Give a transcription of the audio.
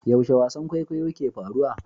Yaushe wasan kwaikwayo ke faruwa?